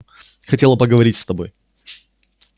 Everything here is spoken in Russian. хотела поговорить с тобой